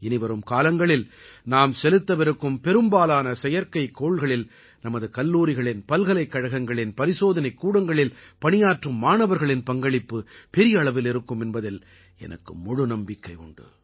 இனிவரும் காலங்களில் நாம் செலுத்தவிருக்கும் பெரும்பாலான செயற்கைக்கோள்களில் நமது கல்லூரிகளின் பல்கலைக்கழகங்களின் பரிசோதனைக் கூடங்களில் பணியாற்றும் மாணவர்களின் பங்களிப்பு பெரிய அளவில் இருக்கும் என்பதில் எனக்கு முழு நம்பிக்கை உண்டு